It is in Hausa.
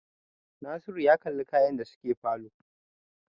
Nasiru ya kalli kyan da suke falo